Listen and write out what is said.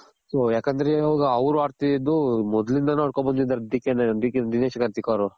so ಯಾಕಂದ್ರೆ ಇವಾಗ ಅವ್ರ್ ಆಡ್ತಿದಿದ್ದು ಮೊದ್ಲಿಂದಾನು ಆಡ್ಕೊಂಡು ಬಂದಿದಾರೆ DK ದಿನೇಶ್ ಕಾರ್ತಿಕ್ ಅವ್ರು.